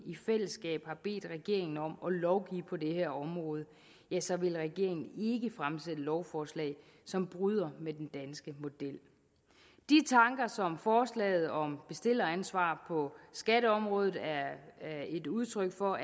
i fællesskab har bedt regeringen om at lovgive på det her område så vil regeringen ikke fremsætte lovforslag som bryder med den danske model de tanker som forslaget om bestilleransvar på skatteområdet er et udtryk for